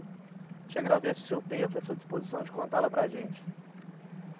Te agradece o seu tempo e a sua disposição de contá-la para a gente.